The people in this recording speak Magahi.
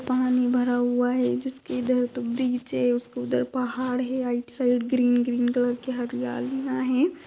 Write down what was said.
पानी भरा हुआ है जिसके इधर तो ब्रिज है उसके उधर पहाड़ है right side green green colour की हरियाली है।